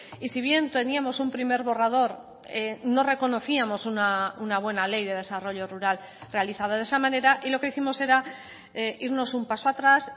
y si bien teníamos un primer borrador no reconocíamos una buena ley de desarrollo rural realizada de esa manera y lo que hicimos era irnos un paso atrás